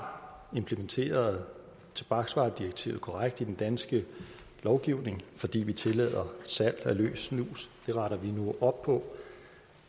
har implementeret tobaksvaredirektivet korrekt i den danske lovgivning fordi vi tillader salg af løs snus det retter vi nu op på